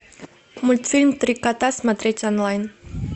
мультфильм три кота смотреть онлайн